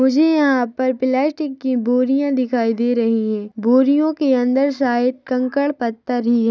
मुझे यहाँ पर प्लास्टिक की बोरिया दिखाई दे रहे है बोरियो के अंदर शायद कंकड़ पत्थर ही है।